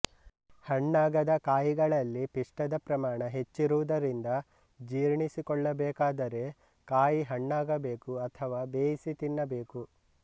ಹಣ್ಣಾಗದ ಕಾಯಿಗಳಲ್ಲಿ ಪಿಷ್ಠದ ಪ್ರಮಾಣ ಹೆಚ್ಚಿರುವುದರಿಂದ ಜೀರ್ಣಿಸಿಕೊಳ್ಳಬೇಕಾದರೆಕಾಯಿ ಹಣ್ಣಾಗಬೇಕು ಅಥವಾ ಬೇಯಿಸಿ ತಿನ್ನಬೇಕು